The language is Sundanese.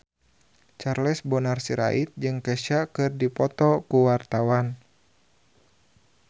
Charles Bonar Sirait jeung Kesha keur dipoto ku wartawan